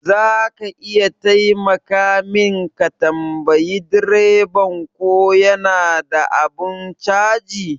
Zaka iya taimaka min ka tambayi direban ko yana da abun caji?